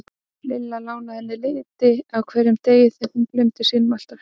Lilla lánaði henni liti á hverjum degi því hún gleymdi sínum alltaf heima.